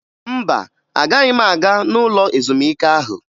Mba, agaghị m aga n'ụlọ ezumike ahụ